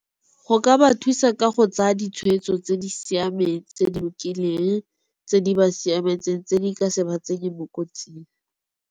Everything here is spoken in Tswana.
Go ka ba thusa ka go tsaya ditshwetso tse di siameng, tse di lokileng, tse di ba siametseng tse di ka se ba tsenye mo kotsing.